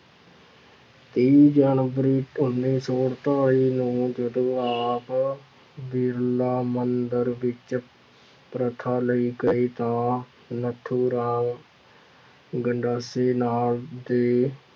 ਤੇਈ ਜਨਵਰੀ ਉੱਨੀ ਸੌ ਅੜਤਾਲੀ ਨੂੰ ਜਦੋਂ ਆਪ ਬਿਰਲਾ ਮੰਦਿਰ ਵਿੱਚ ਪ੍ਰਥਾ ਲਈ ਗਏ ਤਾਂ ਨੱਥੂ ਰਾਮ ਗੰਡਾਸੇ ਨਾਂ ਦੇ